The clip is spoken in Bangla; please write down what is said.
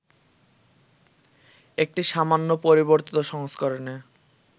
একটি সামান্য পরিবর্তিত সংস্করণে